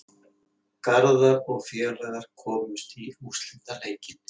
Garðar og félagar komust í úrslitaleikinn